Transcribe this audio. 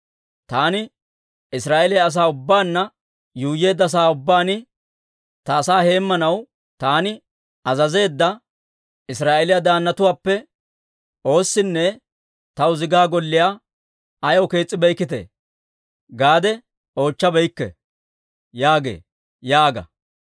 Taani Israa'eeliyaa asaa ubbaanna yuuyyeedda sa'aa ubbaan, ta asaa heemmanaw taani azazeedda Israa'eeliyaa daannatuwaappe oossinne, Taw zigaa golliyaa ayaw kees's'abeykkii? gaade oochchabeykke› yaagee» yaaga.